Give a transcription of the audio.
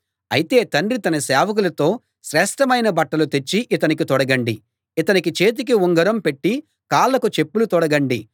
అయితే తండ్రి తన సేవకులతో శ్రేష్ఠమైన బట్టలు తెచ్చి ఇతనికి తొడగండి ఇతని చేతికి ఉంగరం పెట్టి కాళ్ళకు చెప్పులు తొడగండి